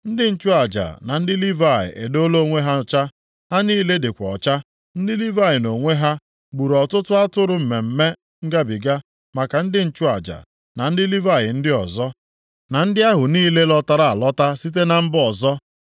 Ndị nchụaja na ndị Livayị edoola onwe ha ọcha, ha niile dịkwa ọcha. Ndị Livayị nʼonwe ha gburu ọtụtụ atụrụ Mmemme Ngabiga maka ndị nchụaja, na ndị Livayị ndị ọzọ, na ndị ahụ niile lọtara alọta site na mba ọzọ.